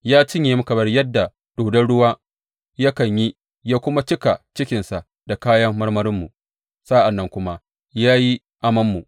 Ya cinye mu kamar yadda dodon ruwa yakan yi ya kuma cika cikinsa da kayan marmarinmu, sa’an nan kuma ya yi amanmu.